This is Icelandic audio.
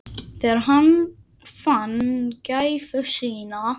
Þegar hann fann gæfu sína.